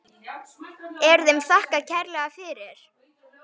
Er þeim þakkað kærlega fyrir.